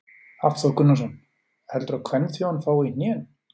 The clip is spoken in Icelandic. Hafþór Gunnarsson: Heldurðu að kvenþjóðin fái í hnén?